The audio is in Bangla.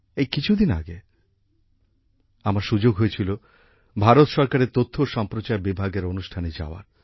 এই কিছু দিন আগে আমার সুযোগ হয়েছিল ভারত সরকারের তথ্য ও সম্প্রচার বিভাগের অনুষ্ঠানে যাওয়ার